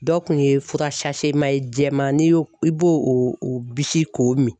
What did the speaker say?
Dɔ kun ye fura jɛman n'i y'o i b'o o bisi k'o min.